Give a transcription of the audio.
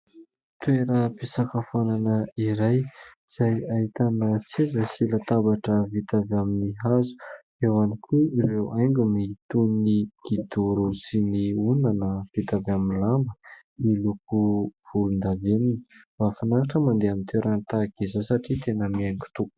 Toeram-pisakafoanana iray izay ahitana seza sy latabatra vita avy amin'ny hazo, eo ihany koa ireo haingony toy ny kidoro sy ny ondana vita avy amin'ny lamba miloko volondavenona. Mahafinaritra mandeha amin'ny toerana tahak'izao satria tena mihaingo tokoa.